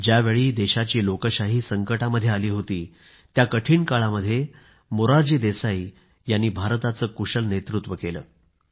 ज्यावेळी देशाची लोकशाही संकटामध्ये आली होती त्या कठीण काळामध्ये मोरारजी देसाईंनी भारताचे कुशल नेतृत्व केलं